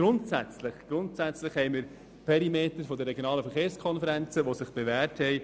Grundsätzlich haben sich die Perimeter der regionalen Verkehrskonferenzen jedoch bewährt.